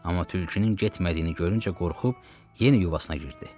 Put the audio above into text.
Amma tülkünün getmədiyini görüncə qorxub yenə yuvasına girdi.